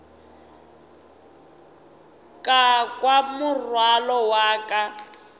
ka kwa morwalo wa ka